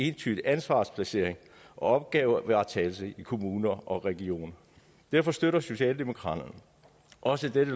entydig ansvarsplacering og opgavevaretagelse i kommuner og regioner derfor støtter socialdemokraterne også dette